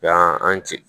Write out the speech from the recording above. Yan an ti